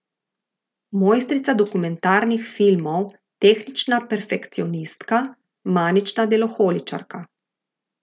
Mojstrica dokumentarnih filmov, tehnična perfekcionistka, manična deloholičarka.